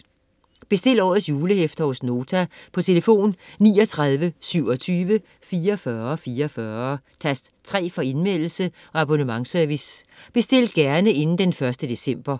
Bestil årets julehæfter hos Nota på telefon 39 27 44 44, tast 3 for Indmeldelse- og abonnementsservice. Bestil gerne inden d. 1. december.